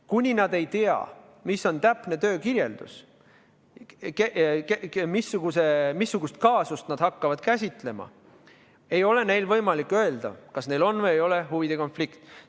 Kuni nad ei teadnud, mis on täpne töö, missugust kaasust nad hakkaksid käsitlema, ei olnud neil võimalik öelda, kas neil on või ei ole huvide konflikt.